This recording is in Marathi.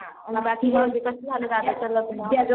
बाकी मग कस झालं दादाच लग्न